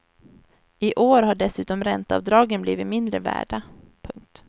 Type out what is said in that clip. I år har dessutom ränteavdragen blivit mindre värda. punkt